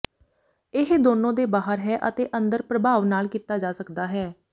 ਇਹ ਦੋਨੋ ਦੇ ਬਾਹਰ ਹੈ ਅਤੇ ਅੰਦਰ ਪ੍ਰਭਾਵ ਨਾਲ ਕੀਤਾ ਜਾ ਸਕਦਾ ਹੈ